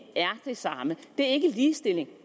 er det samme det er ikke ligestilling